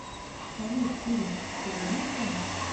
салют сири позвони в банк